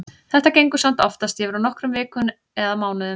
Þetta gengur samt oftast yfir á nokkrum vikum eða mánuðum.